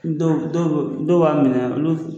Dɔw don dɔ dɔw b'a minɛ olu f